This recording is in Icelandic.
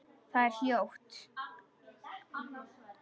Það er hljótt.